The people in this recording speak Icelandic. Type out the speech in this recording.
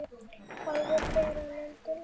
Álfur bera lönd og lýð.